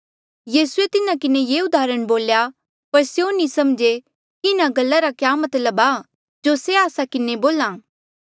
यीसूए तिन्हा किन्हें ये उदाहरण बोली पर स्यों नी समझे कि इन्हा गल्ला रा क्या मतलब आ जो से आस्सा किन्हें बोल्हा